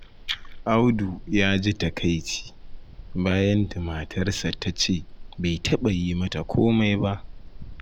Audu ya ji takaici, bayan da matarsa ta ce bai taɓa yi mata komai ba.